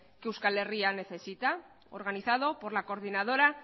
que euskal herria necesita organizado por la coordinadora